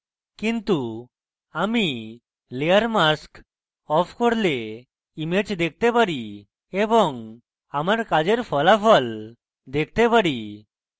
কিন্তু আমি layer mask off করলে image দেখতে পারি এবং আমার কাজের ফলাফল দেখতে পারি